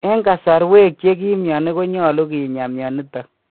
En kasarwek che kim myoni konyolu kinyaa myonitok